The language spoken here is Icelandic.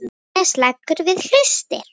Agnes leggur við hlustir.